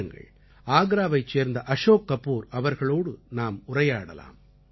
வாருங்கள் ஆக்ராவைச் சேர்ந்த அஷோக் கபூர் அவர்களோடு நாம் உரையாடலாம்